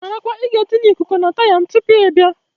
Marakwa ị ga etinye Ịkụku na taya m tupu ị bịa!